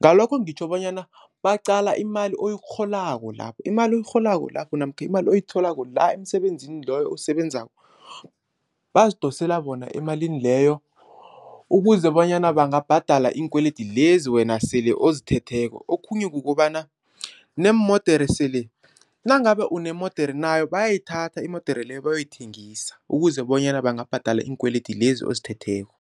Ngalokho ngitjho bonyana baqala imali oyirholako lapho, imali oyirholako lapho namkha imali oyitholako la emsebenzini loyo owusebenzako bazidosela bona emalini leyo ukuze bonyana bangabhadala iinkwelede lezi wena sele ozithetheko okhunye kukobana neemodere sele, nangabe unemodere nayo bayayithatha imodere leyo bayoyithengisa ukuze bonyana bangabhadala iinkwelede lezi ozithetheko.